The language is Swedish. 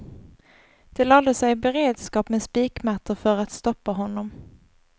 De lade sig i beredskap med spikmattor för att stoppa honom.